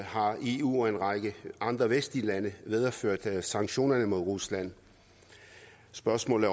har eu og en række andre vestlige lande videreført sanktionerne mod rusland spørgsmålet